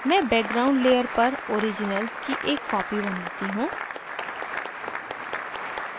मैं background layer पर original की एक copy बनाती हूँ